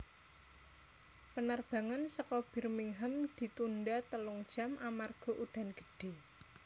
Penerbangan seko Birmingham ditunda telung jam amarga udan gede